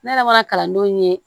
Ne yɛrɛ mana kalandenw ye